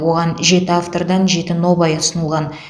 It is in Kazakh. оған жеті автордан жеті нобай ұсынылған